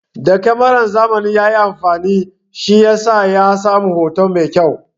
Da kamaran zamani ya yi amfani, shi yasa ya samu hoto mai kyau.